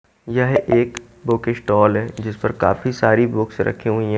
यह एक book stall है जिस पर काफी सारी बुक्स रखी हुई है।